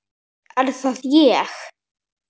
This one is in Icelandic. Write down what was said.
Er það ÉG??